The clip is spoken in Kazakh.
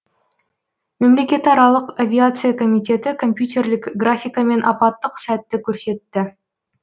мемлекетаралық авиация комитеті компьютерлік графикамен апаттық сәтті көрсетті